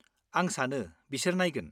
आं सानो बिसोर नायगोन।